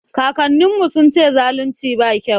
Kakannin mu sun ce zalunci ba kyau